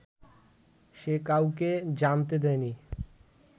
সে কাউকে জানতে দেয়নি